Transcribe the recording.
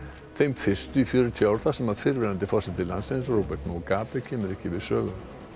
þeim fyrstu í fjörutíu ár þar sem fyrrverandi forseti landsins Robert kemur ekki við sögu